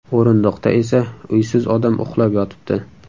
O‘rindiqda esa uysiz odam uxlab yotibdi.